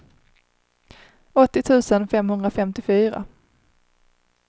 åttio tusen femhundrafemtiofyra